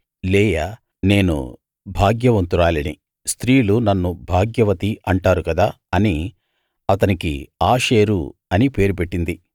లేయా నేను భాగ్యవంతురాలిని స్త్రీలు నన్ను భాగ్యవతి అంటారు కదా అని అతనికి ఆషేరు అని పేరు పెట్టింది